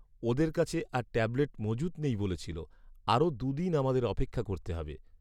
ওদের কাছে আর ট্যাবলেট মজুত নেই বলেছিলো। আরও দু' দিন আমাদের অপেক্ষা করতে হবে।